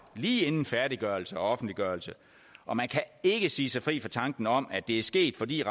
lige inden færdiggørelse og offentliggørelse og man kan ikke sige sig fri for tanken om at det er sket fordi